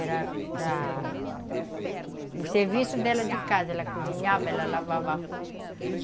Era para o serviço dela de casa, ela cozinhava, ela lavava a roupa.